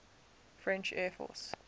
french air force